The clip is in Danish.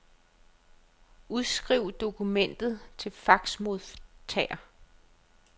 Udskriv dokumentet til faxmodtager.